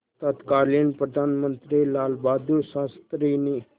तत्कालीन प्रधानमंत्री लालबहादुर शास्त्री ने